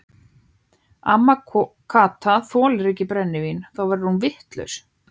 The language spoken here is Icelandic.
Amma Kata þolir ekki brennivín, þá verður hún vitlaus.